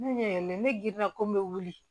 Ne ne giriya ko n bɛ wuli